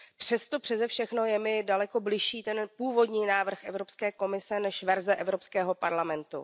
Přesto přese všechno je mi daleko bližší ten původní návrh Evropské komise než verze Evropského parlamentu.